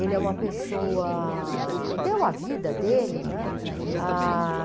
Ele é uma pessoa... Deu a vida dele, né? Ah...